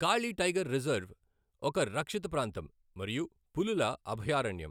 కాళి tiger reserve ఒక రక్షిత ప్రాంతం మరియు పులుల అభయారణ్యం.